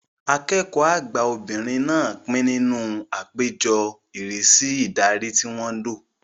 Akẹ́kọ̀ọ́ àgbà obìnrin náà pín nínú àpéjọ ìrísí ìdarí tí wọ́n lọ